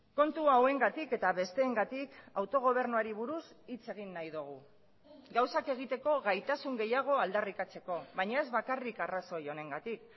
kontu hauengatik eta besteengatik autogobernuari buruz hitz egin nahi dugu gauzak egiteko gaitasun gehiago aldarrikatzeko baina ez bakarrik arrazoi honengatik